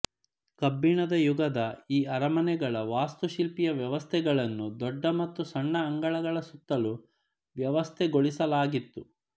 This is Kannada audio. ಕಬ್ಬಿಣದ ಯುಗದ ಈ ಅರಮನೆಗಳ ವಾಸ್ತುಶಿಲ್ಪೀಯ ವ್ಯವಸ್ಥೆಗಳನ್ನು ದೊಡ್ಡ ಮತ್ತು ಸಣ್ಣ ಅಂಗಳಗಳ ಸುತ್ತಲೂ ವ್ಯವಸ್ಥೆಗೊಳಿಸಲಾಗಿತ್ತು